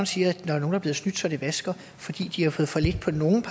siger at nogle er blevet snydt så det vasker fordi de har fået for lidt på nogle